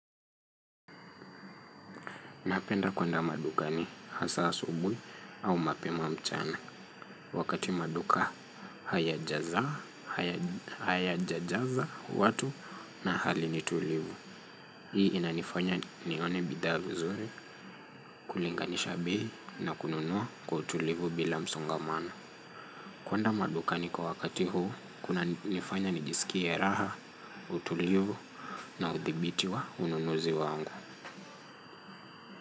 Napenda kwenda madukani hasa asubui au mapema mchana. Wakati maduka haya jaza watu na hali nitulivu. Hii inanifanya nione bidha vizuri, kulinganisha bei na kununua kwa utulivu bila msongamano. Kwenda madukani kwa wakati huu, kuna nifanya nijisikie raha, utulivu na uthibiti wa ununuzi wangu.